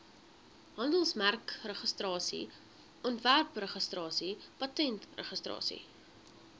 handelsmerkregistrasie ontwerpregistrasie patentregistrasie